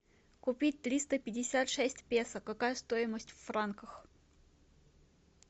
купить триста пятьдесят шесть песо какая стоимость в франках